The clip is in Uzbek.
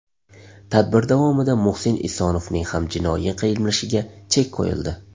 Tadbir davomida Muhsin Esonovning ham jinoiy qilmishiga chek qo‘yildi.